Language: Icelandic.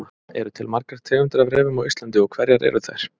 Eru til margar tegundir af refum á Íslandi og hverjar eru þær?